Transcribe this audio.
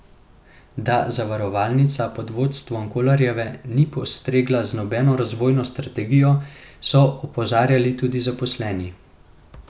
Da zavarovalnica pod vodstvom Kolarjeve ni postregla z nobeno razvojno strategijo, so opozarjali tudi zaposleni.